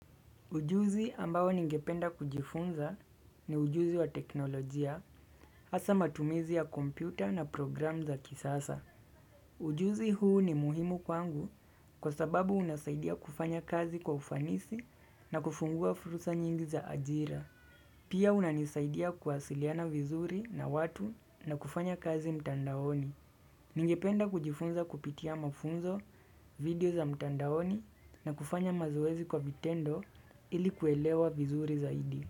Ujuzi ambao ningependa kujifunza ni ujuzi wa teknolojia hasa matumizi ya kompyuta na program za kisasa. Ujuzi huu ni muhimu kwangu kwa sababu unasaidia kufanya kazi kwa ufanisi na kufungua fursa nyingi za ajira. Pia unanisaidia kuwasiliana vizuri na watu na kufanya kazi mtandaoni. Ningependa kujifunza kupitia mafunzo, video za mtandaoni na kufanya mazoezi kwa vitendo ili kuelewa vizuri zaidi.